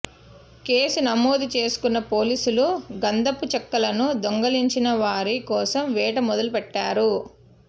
case నమోదు చేసుకున్న పోలీసులు గంధపు చెక్కలను దొంగిలించిన వారి కోసం వేట మొదలు పెట్టారు